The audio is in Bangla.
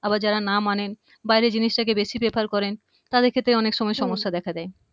আবার যারা না মানেন বাইরের জিনিসটাকে বেশি prefer করেন তাদের ক্ষেত্রে অনেক সময় সমস্যা দেখা দেয়